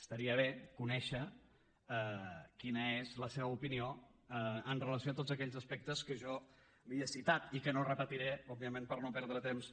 estaria bé conèixer quina és la seva opinió amb relació a tots aquells aspectes que jo li he citat i que no repetiré òbviament per no perdre temps